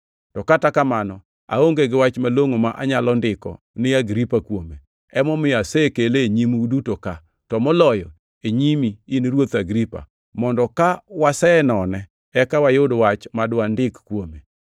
To kata kamano, aonge gi wach malongʼo ma anyalo ndiko ni Agripa kuome. Emomiyo asekele e nyimu uduto ka, to moloyo e nyimi, in Ruoth Agripa, mondo ka wasenone eka wayud wach ma dwandik kuome.